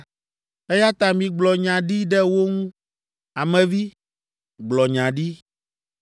Eya ta migblɔ nya ɖi ɖe wo ŋu; ame vi, gblɔ nya ɖi.”